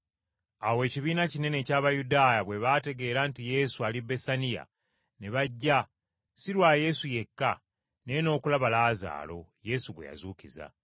Awo ekibiina kinene eky’Abayudaaya bwe bategeera nti Yesu ali Besaniya, ne bajja, si Lwa Yesu yekka, naye n’okulaba Laazaalo, Yesu gwe yazuukiza.